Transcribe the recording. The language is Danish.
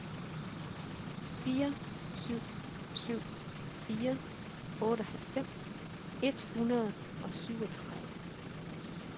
fire syv syv fire otteoghalvfems et hundrede og syvogtredive